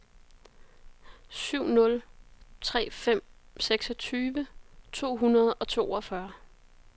syv nul tre fem seksogtyve to hundrede og toogfyrre